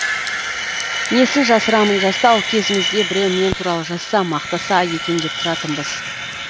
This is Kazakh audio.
несін жасырамын жастау кезімізде біреу мен туралы жазса мақтаса екен деп тұратынбыз